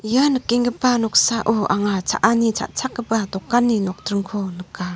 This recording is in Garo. ia nikenggipa noksao anga cha·ani cha·chakgipa dokani nokdringko nika.